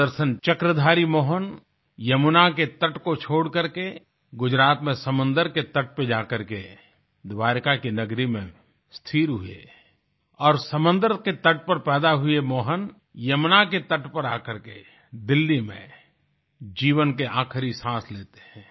सुदर्शन चक्रधारी मोहन यमुना के तट को छोड़कर के गुजरात में समुन्द्र के तट पर जा करके द्वारिका की नगरी में स्थिर हुए और समुन्द्र के तट पर पैदा हुए मोहन यमुना के तट पर आकर के दिल्ली में जीवन के आखिरी सांस लेते हैं